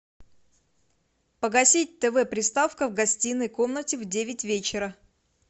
погасить тв приставка в гостиной комнате в девять вечера